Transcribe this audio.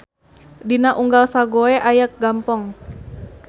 Dina unggal Sagoe aya Gampong.